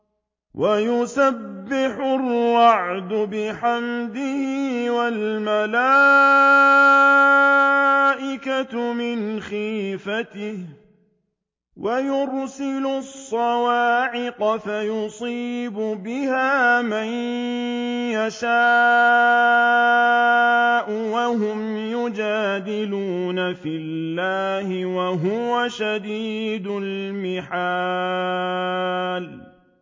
وَيُسَبِّحُ الرَّعْدُ بِحَمْدِهِ وَالْمَلَائِكَةُ مِنْ خِيفَتِهِ وَيُرْسِلُ الصَّوَاعِقَ فَيُصِيبُ بِهَا مَن يَشَاءُ وَهُمْ يُجَادِلُونَ فِي اللَّهِ وَهُوَ شَدِيدُ الْمِحَالِ